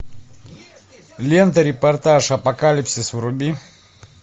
лента репортаж апокалипсис вруби